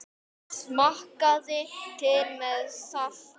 Smakkið til með salti.